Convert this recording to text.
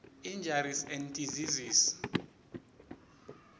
injuries and diseases